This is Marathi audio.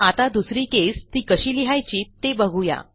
आता दुसरी केस ती कशी लिहायची ते बघू या